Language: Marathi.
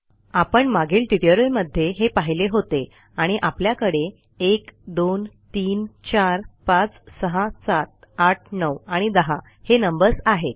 आपण मागील ट्युटोरियलमध्ये हे पाहिले होते आणि आपल्याकडे 1 2 3 4 5 6 7 8 9 आणि 10 हे नंबर्स आहेत